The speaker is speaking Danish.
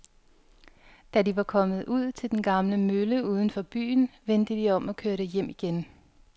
Da de var kommet ud til den gamle mølle uden for byen, vendte de om og kørte hjem igen.